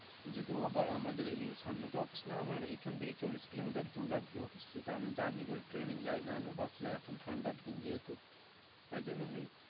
যেহেতু আবার আমাদের এই সামনে তো অফিস না আমার এখান থেকে চল্লিশ kilometer দূর আর কি অফিস, যেটা আমি journey করে ট্রেনে যায় নাহলে বাসে যাই এখন ঠান্ডার দিন যেহেতু তাই জন্য আমি,